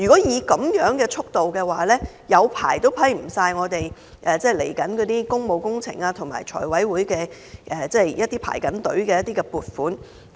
以這樣的速度，即使花很長時間，也不能批出接下來的工務工程和正在財委會輪候的一些撥款項目。